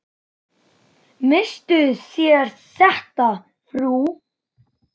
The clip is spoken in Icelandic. Misstuð þér þetta, frú!